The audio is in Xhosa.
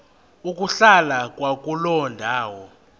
ukuhlala kwakuloo ndawo